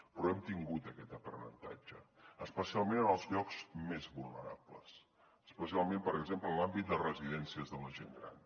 però hem tingut aquest aprenentatge especialment en els llocs més vulnerables especialment per exemple en l’àmbit de residències de la gent gran